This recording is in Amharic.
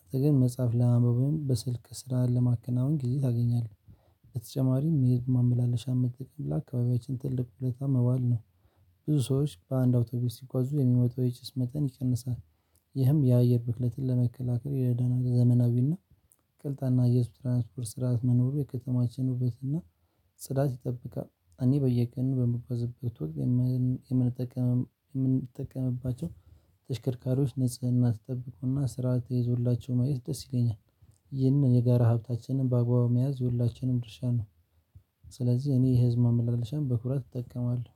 አጠገብ መጽሐፍ ለማንበብም በስልክ ስራ ለማከናወን ጊዜ ታገኛለህ። በተጨማሪም የ ማምላለሻም መጠቀም ለ አካባቢያችን ትልቅ ዉለታ መዋል ነው። ብዙ ሰዎች በአንድ አውቶቢስ ሲጓዙ የሚወጣው የጭስ መጠን ይቀንሳል። ይህም የአየር ብክለትን ለመከላከል ይረዳናል። ዘመናዊና ቅልጣፋ የህዝብ ትራንስፖርት ስርዓት መኖሩ የከተማችን ውበትና ጽዳት ይጠብቃል። እኔ በየቀኑ በምጓዝበት ወቅት የምንጠቀም የምንጠቀምባቸው- ተሽከርካሪዎች ንጽህና ተጠብቆና ስራ ተይዞላቸው ማየት ደስ ይለኛል። ይህንን የጋራ ሀብታችንን በአግባቡ መያዝ የሁላችንም ድርሻ ነው። ስለዚህ እኔ ህዝብ ማመላለሻ በኩራት እጠቀማለሁ።